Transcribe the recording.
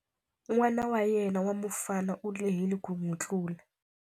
N'wana wa yena wa mufana u lehile ku n'wi tlula.